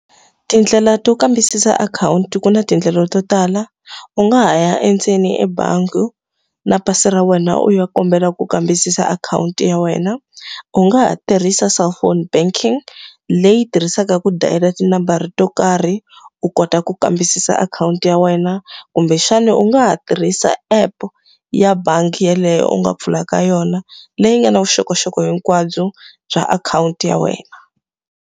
Tindlela to kambisisa akhawunti ku na tindlela to tala. U nga ha ya endzeni ebangi, na pasi ra wena u ya kombela ku kambisisa akhawunti ya wena. U nga ha tirhisa cellphone banking, leyi tirhisaka ku dayila tinambara to karhi u kota ku kambisisa akhawunti ya wena. Kumbexana u nga ha tirhisa app ya bangi yeleyo u nga pfula ka yona, leyi nga na vuxokoxoko hinkwabyo bya akhawunti ya wena.